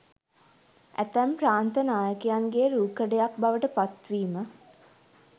ඇතැම් ප්‍රාන්ත නායකයන්ගේ රූකඩයක් බවට පත් වීම